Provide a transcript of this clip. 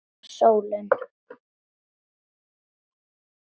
Eða sólin?